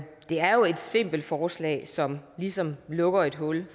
det er jo et simpelt forslag som ligesom lukker et hul